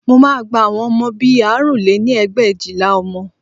Mo máa gba àwọn ọmọ bí i àrún lé ní ẹgbẹ̀éjìlá ọmọ